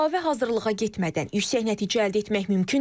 Əlavə hazırlığa getmədən yüksək nəticə əldə etmək mümkündürmü?